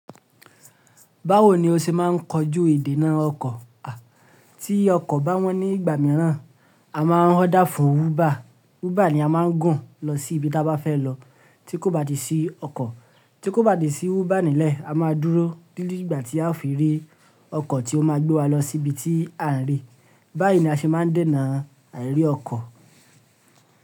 Báwo ni o ṣe máa ń kojú ìdènà ọkọ̀? À, tí ọkọ̀ bá wọ́n ní ìgbà mìíràn, a máa ń hódà fún wúbà. Wúbà ni a máa ń gùn lọ sí ibi tí a bá fẹ́ lọ tí kò bá ti sí ọkọ̀. Tí kò bá ti sí wúbà nílẹ̀, a máa dúró títí ìgbà tí a ó fi rí ọkọ̀ tí ó máa gbé wa lọ sí ibi tí à ń rè. Báyìí ni a ṣe máa ń dènà àìrí ọkọ̀.